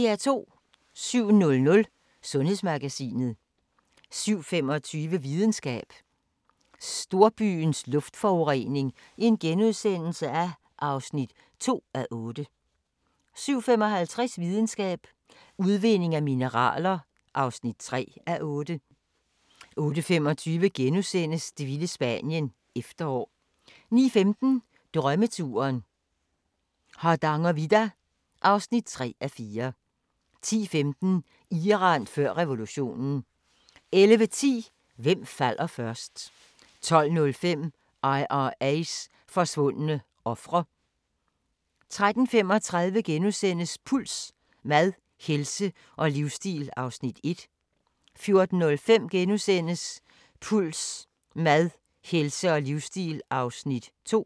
07:00: Sundhedsmagasinet 07:25: Videnskab: Storbyens luftforurening (2:8)* 07:55: Videnskab: Udvinding af mineraler (3:8) 08:25: Det vilde Spanien – Efterår * 09:15: Drømmeturen - Hardangervidda (3:4) 10:15: Iran før revolutionen 11:10: Hvem falder først? 12:05: IRA's forsvundne ofre 13:35: Puls: Mad, helse og livsstil (1:4)* 14:05: Puls: Mad, helse og livsstil (2:4)*